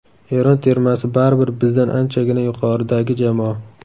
Eron termasi baribir bizdan anchagina yuqoridagi jamoa.